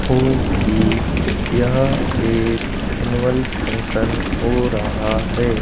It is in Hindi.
हूं कि यह एक एनुअल फंक्शन हो रहा है।